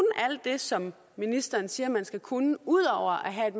alt det som ministeren siger at man skal kunne ud over at have et